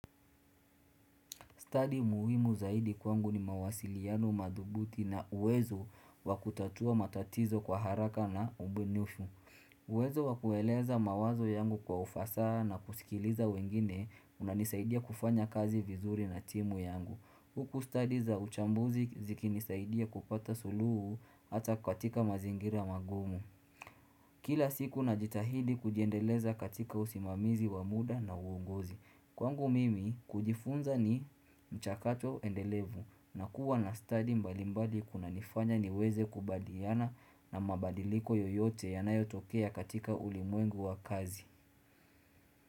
Study muhimu zaidi kwangu ni mawasiliano madhubuti na uwezo wakutatua matatizo kwa haraka na ubunifu. Uwezo wakueleza mawazo yangu kwa ufasaha na kusikiliza wengine kunanisaidia kufanya kazi vizuri na timu yangu. Huku study za uchambuzi ziki nisaidia kupata suluhu hata katika mazingira mangumu. Kila siku najitahidi kujiendeleza katika usimamizi wa muda na uongozi. Kwangu mimi kujifunza ni chakato endelevu na kuwa na study mbali mbali kuna nifanya niweze kubadiyana na mabadiliko yoyote yanayotokea katika ulimwengu wa kazi.